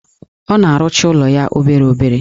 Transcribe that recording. Ọ na-arụcha ụlọ ya obere obere.